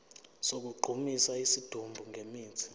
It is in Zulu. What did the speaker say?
sokugqumisa isidumbu ngemithi